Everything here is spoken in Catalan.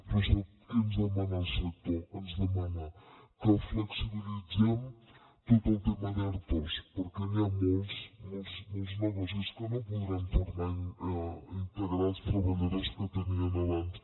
però sap què ens demana el sector ens demana que flexibilitzem tot el tema d’ertos perquè n’hi ha molts molts negocis que no podran tornar a integrar els treballadors que tenien abans